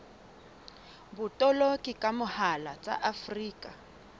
botoloki ka mohala tsa afrika